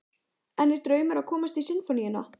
En er draumur að komast í Sinfóníuna?